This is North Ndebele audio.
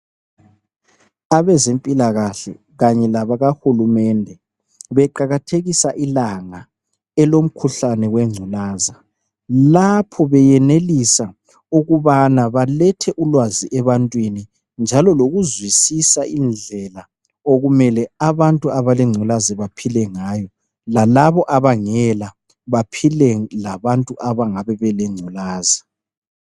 Abezempilakahle kanye labakahulumende beqakathekisa ilanga elomkhuhlane wengculaza .Lapho beyenelisa ukubana balethe ulwazi ebantwini Njalo lokuzwisisa indlela okumele abantu abalengulaza baphile ngayo lalabo abangela baphile labantu abangabe bele ngculaza .